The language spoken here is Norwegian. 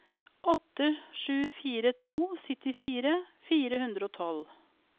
åtte sju fire to syttifire fire hundre og tolv